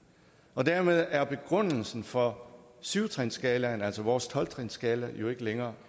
og dermed er begrundelsen for syv trinsskalaen altså vores tolv trinsskala jo ikke længere